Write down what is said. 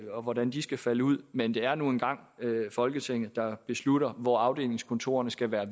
og hvordan de skal falde ud men det er nu engang folketinget der beslutter hvor afdelingskontorerne skal være